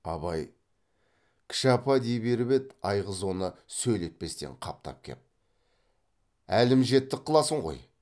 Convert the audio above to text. абай кіші апа дей беріп еді айғыз оны сөйлетпестен қаптап кеп әлім жеттік қыласың ғой